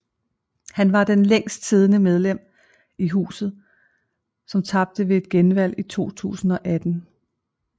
Han var det længstsiddende medlem af Huset som tabte ved et genvalg i 2018